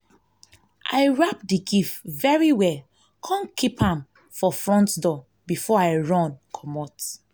i wrap the gift very well come keep am for front door before i run comot